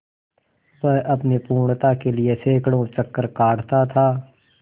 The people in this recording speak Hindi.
वह अपनी पूर्णता के लिए सैंकड़ों चक्कर काटता था